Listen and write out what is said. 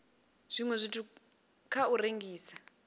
zwiwe zwithu kha u rengisa